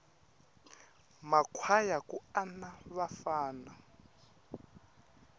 ma kwhaya ku ana vafana